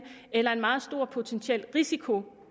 eller en meget stor potentiel risiko